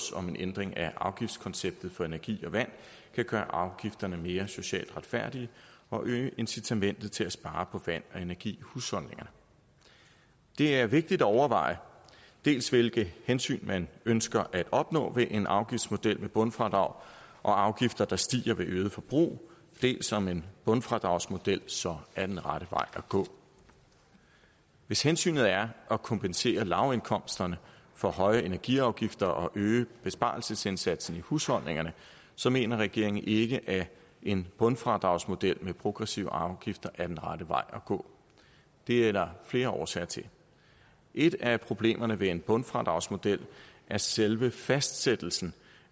om en ændring af afgiftkonceptet for energi og vand kan gøre afgifterne mere socialt retfærdige og øge incitamentet til at spare på vand og energi i husholdningerne det er vigtigt at afveje dels hvilke hensyn man ønsker at opnå med en afgiftsmodel med bundfradrag og afgifter der stiger ved øget forbrug dels om en bundfradragsmodel så er den rette vej at gå hvis hensynet er at kompensere lavindkomsterne for høje energiafgifter og øge besparelsesindsatsen i husholdningerne så mener regeringen ikke at en bundfradragsmodel med progressive afgifter er den rette vej at gå det er der flere årsager til et af problemerne ved en bundfradragsmodel er selve fastsættelsen